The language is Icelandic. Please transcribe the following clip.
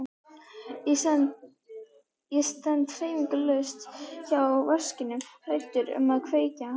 Ég stend hreyfingarlaus hjá vaskinum hræddur um að vekja hana.